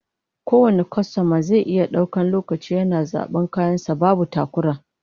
Kowane kwastoma zai iya daukan lokaci yana zaban kayan sa babu takura